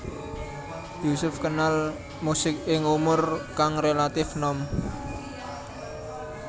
Yusuf kenal musik ing umur kang relatif nom